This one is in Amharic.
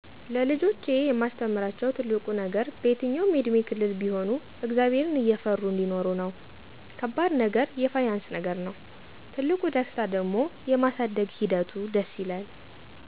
ለልጆቼ የማስተምራቸው ትልቁ ነገር በየትኛውም የእድሜ ክልል ቢሆኑ እግዚአብሔርን እየፈሩ አንዲኖሩ ነው። ከባድ ነገር የፋይናንስ ነገር ነው፤ ትልቁ ደስታ ደሞ የማሳደግ ሒደቱ ደስ ይላል።